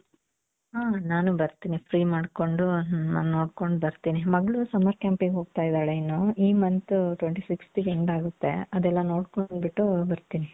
ಹ್ಮ್ ನಾನು ಬರ್ತೀನಿ free ಮಾಡ್ಕೊಂಡು ನೋಡ್ಕೊಂಡು ಬರ್ತೀನಿ ಮಗಳು summer campಗೆ ಹೋಗ್ತಾ ಇದ್ದಾಳೆ ಇನ್ನು ಈ month twenty fifth ಗೆ end ಆಗುತ್ತೆ ಅದೆಲ್ಲಾ ನೋಡ್ಕೊಂಡ್ ಬಿಟ್ಟು ಬರ್ತೀನಿ.